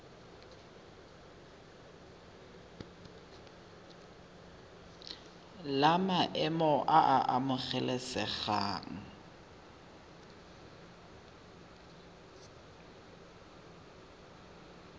la maemo a a amogelesegang